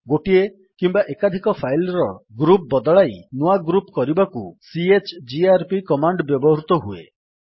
ଗୋଟିଏ କିମ୍ୱା ଏକାଧିକ ଫାଇଲ୍ ର ଗ୍ରୁପ୍ ବଦଳାଇ ନୂଆ ଗ୍ରୁପ୍ କରିବାକୁ ସିଏଚଜିଆରପି କମାଣ୍ଡ୍ ବ୍ୟବହୃତ ହୁଏ